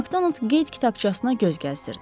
Makdonald qeyd kitabçasına göz gəzdirdi.